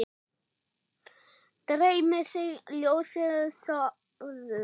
Dreymi þig ljósið, sofðu rótt.